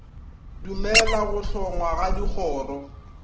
dumella go hlongwa ga dikgoro